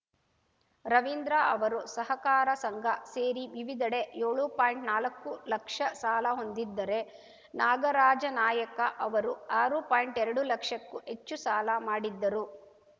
ರವಿಂದ್ರ ಅವರು ಸಹಕಾರ ಸಂಘ ಸೇರಿ ವಿವಿಧೆಡೆ ಯೋಳು ಪಾಯಿಂಟ್ನಾಲಕ್ಕು ಲಕ್ಷ ಸಾಲ ಹೊಂದಿದ್ದರೆ ನಾಗರಾಜನಾಯ್ಕ ಅವರು ಆರು ಪಾಯಿಂಟ್ಎರಡು ಲಕ್ಷಕ್ಕೂ ಹೆಚ್ಚು ಸಾಲ ಮಾಡಿದ್ದರು